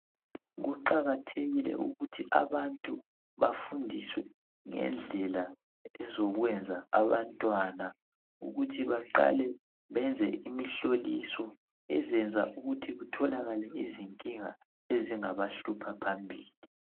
Kuqakathekile ukuthi abantu bafundiswe ngendlela ezokuyenza abantwana kuthi baqale benze imihloliso ezenza ukuthi utholakale izincinga ezingaba hlupha phambili